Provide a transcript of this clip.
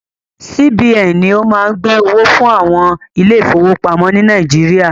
CBN ni o má ń gbẹ́ owó fún àwọn ilé ìfọwọ́pamo ni Nàíjíríà.